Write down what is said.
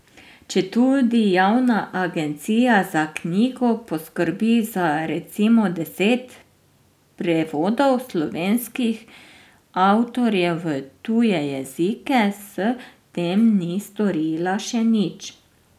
Četudi Javna agencija za knjigo poskrbi za recimo deset prevodov slovenskih avtorjev v tuje jezike, s tem ni storila še nič.